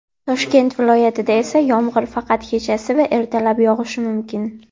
Toshkent viloyatida esa yomg‘ir faqat kechasi va ertalab yog‘ishi mumkin.